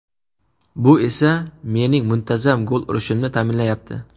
Bu esa mening muntazam gol urishimni ta’minlayapti.